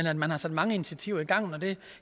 at man har sat mange initiativer i gang det